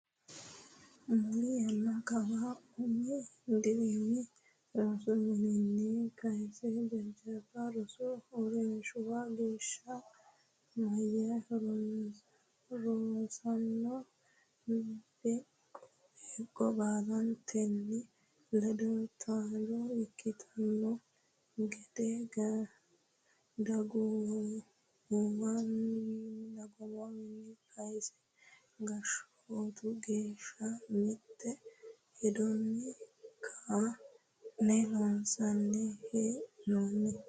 Muli yanna kawa umi dirimi rosu minnanni kayse jajjabba rosu uurrinshuwa geeshsha meya rosaano beeqqo labballunnite ledo taalo ikkitanno gede dagoomunniwiinni kayse gashshootu geeshsha mitte hedonni ka ne loonsanni hee noonni.